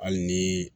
Hali ni